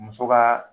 Muso ka